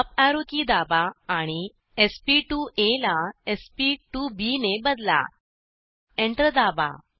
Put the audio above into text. up arrow key दाबा आणि sp2आ ला sp2बी ने बदला एंटर दाबा